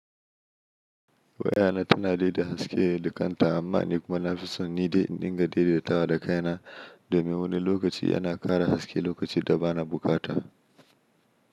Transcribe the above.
Wayana tana daida haske da kanta amma ni kuma na fi son nidai in dinga daidaitawa da kaina domin wani lokaci yana ƙara haske lokaci da bana bukata.